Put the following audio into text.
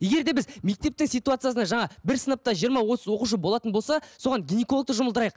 егер де біз мектептің ситуациясына жаңа бір сыныпта жиырма отыз оқушы болатын болса соған гинекологты жұмылдырайық